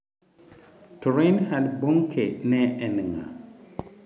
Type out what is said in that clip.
To Reinhard Bonke ne en ng’a?